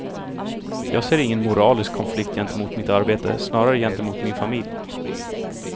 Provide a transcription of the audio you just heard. Jag ser ingen moralisk konflikt gentemot mitt arbete, snarare gentemot min familj.